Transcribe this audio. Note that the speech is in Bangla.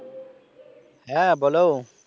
হ্যাঁ বল